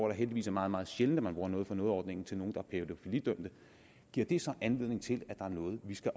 er heldigvis meget meget sjældent man bruger noget for noget ordningen til nogen der er pædofilidømt giver det så anledning til at der er noget vi skal